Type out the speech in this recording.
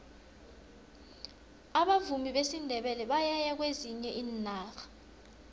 abavumi besindebele bayaya kwezinye iinarha